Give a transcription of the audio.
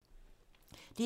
DR2